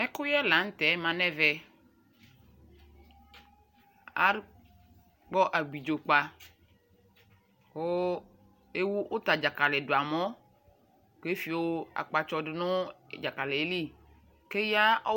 Ɛkuyɛ la ntɛ ma nɛ vɛAkpɔ abidzo kpaKu ɛwu uta dzakali dua mɔ kɛ fio akpatsɔ du nu dza kali yɛli ke ya